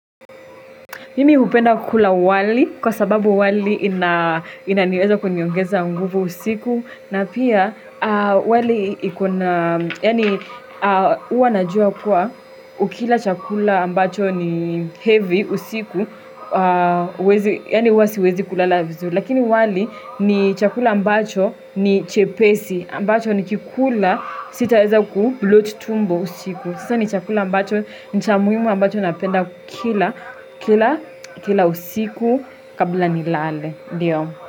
Mimi hupenda kula wali kwa sababu wali inaweza kuniongeza nguvu usiku. Na pia wali iko na, yaani huwa najua kuwa ukila chakula ambacho ni heavy usiku, yaani uwa siwezi kula la vizuri. Lakini wali ni chakula ambacho ni chepesi ambacho nikikula sitaweza kubloat tumbo usiku. Sasa ni chakula ambacho, ni cha muhimu ambacho napenda kila, kila, kila usiku kabla nilale.